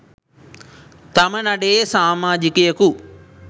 තම නඩයේ සාමාජිකයකු